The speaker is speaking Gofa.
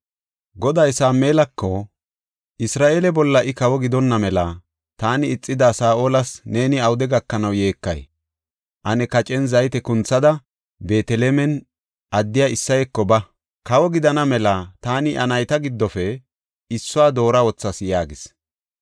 Goday Sameelako, “Isra7eele bolla I kawo gidonna mela taani ixida Saa7olas neeni awude gakanaw yeekay? Ane kacen zayte kunthada Beetelem addiya Isseyeko ba; kawo gidana mela taani iya nayta giddofe issuwa doora wothas” yaagis.